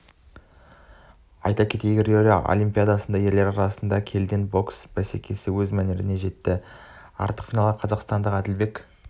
айта кетейік рио олимпиадасында ерлер арасында келідегі бокс бәсекесі өз мәресіне жетті ақтық финалда қазақстандық әділбек